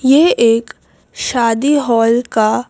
यह एक शादी हॉल का--